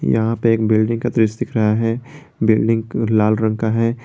यहां पे एक बिल्डिंग का दृश्य दिख रहा है बिल्डिंग लाल रंग का है।